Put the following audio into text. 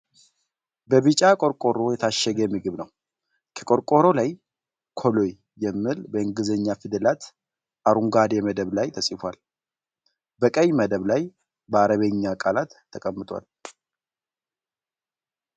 በቢጫ ቆርቆሮ የታሸገ ምግብ ነዉ። ከቆርቆሮዉ ላይ "ኮሎይ " የሚል በእንግሊዘኛ ፊደላት አረንጓዴ መደብ ላይ ተፅፏል። በቀይ መደብ ላይ በአረበኛ ቃላት ተቀምጠዋል።